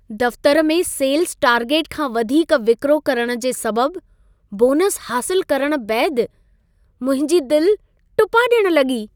दफ़्तर में sales target खां वधीक विक्रो करण जे सबबु बोनसु हासिलु करण बैदि मुंहिंजी दिलि टुपा डि॒यणु लॻी।